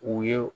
U ye